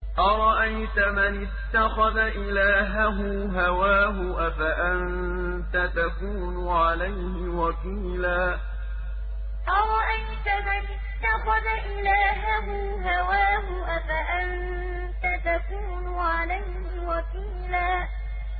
أَرَأَيْتَ مَنِ اتَّخَذَ إِلَٰهَهُ هَوَاهُ أَفَأَنتَ تَكُونُ عَلَيْهِ وَكِيلًا أَرَأَيْتَ مَنِ اتَّخَذَ إِلَٰهَهُ هَوَاهُ أَفَأَنتَ تَكُونُ عَلَيْهِ وَكِيلًا